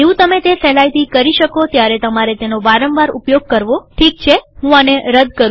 જેવું તમે તે સહેલાઈથી કરી શકો ત્યારે તમારે તેનો વારંવાર ઉપયોગ કરવોઠીક છેહું આને રદ કરું